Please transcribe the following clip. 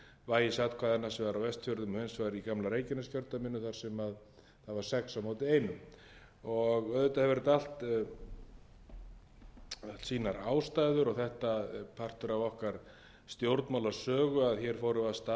vægis atkvæðanna sem var á vestfjörðum og hins vegar í gamla reykjaneskjördæminu þar sem það var sex fyrstu auðvitað hefur þetta allt haft sínar ástæður og þetta er partur af okkar stjórnmálasögu að hér fóru af stað með gríðarlega mikið ójafnvægi og misvægi atkvæða